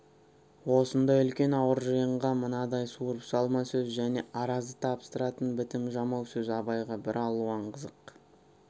осындай үлкен ауыр жиынға мынадай суырып салма сөз және аразды табыстыратын бітім жамау сөз абайға бір алуан қызық